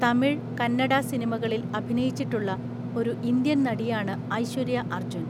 തമിഴ്, കന്നഡ സിനിമകളിൽ അഭിനയിച്ചിട്ടുള്ള ഒരു ഇന്ത്യൻ നടിയാണ് ഐശ്വര്യ അർജുൻ.